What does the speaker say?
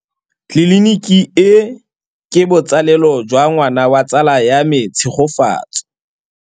Tleliniki e, ke botsalêlô jwa ngwana wa tsala ya me Tshegofatso.